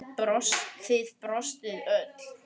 Þið brostuð öll.